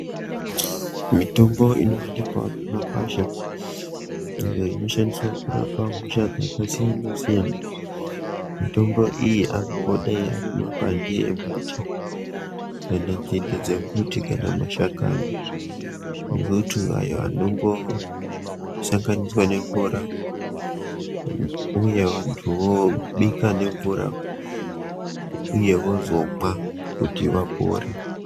Mitobo inowanikwa mumagwasha iyo inoshandiswa kurapa hosha dzakasiyanasiyana, mitombo iyi angangodai ari mapande emuti kana nzinde dzemuti kana mashakani ngokuti aya anongosanganiswa nemvura uye vantu vobika nemvura uye vozomwa kuti vapore.